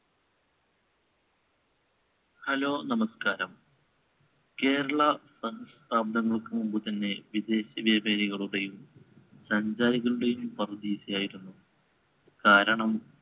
hello നമസ്ക്കാരം. കേരള സഹസ്രാബ്ദങ്ങൾക്കുമുമ്പുതന്നെ വിദേശവ്യാപാരികളുടെയും സഞ്ചാരികളുടെയും പറുദീസയായിരുന്നു. കാരണം